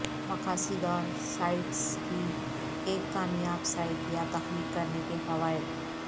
مقاصد اور سائٹس کی ایک کامیاب سائٹ یا تخلیق کرنے کے فوائد